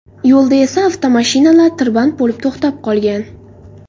Yo‘lda esa avtomashinalar tirband bo‘lib to‘xtab qolgan.